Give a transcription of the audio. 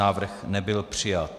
Návrh nebyl přijat.